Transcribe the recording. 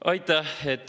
Aitäh!